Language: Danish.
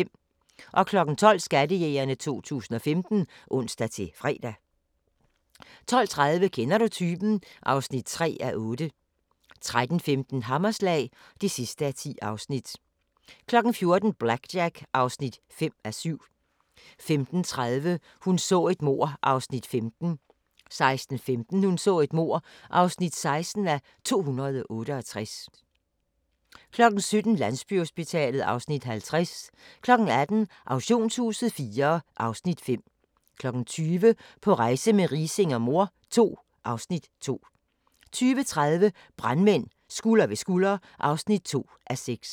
12:00: Skattejægerne 2015 (ons-fre) 12:30: Kender du typen? (3:8) 13:15: Hammerslag (10:10) 14:00: BlackJack (5:7) 15:30: Hun så et mord (15:268) 16:15: Hun så et mord (16:268) 17:00: Landsbyhospitalet (Afs. 50) 18:00: Auktionshuset IV (Afs. 5) 20:00: På rejse med Riising og mor II (Afs. 2) 20:30: Brandmænd – Skulder ved skulder (2:6)